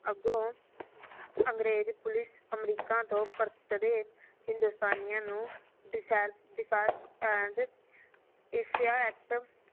ਅੱਗੋ ਅੰਗਰੇਜ police America ਤੋ ਪਰਤਦੇ ਹਿੰਦੋਸਤਾਨਿਆਂ ਨੂੰ